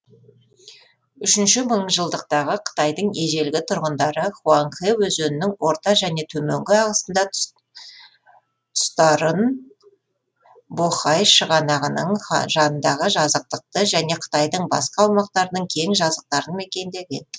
үшінші мыңжылдықтағы қытайдың ежелгі тұрғындары хуанхэ өзенінің орта және төменгі ағысында тұстарын бохай шығанағының жанындағы жазықтықты және қытайдың басқа аумақтарының кең жазықтарын мекендеген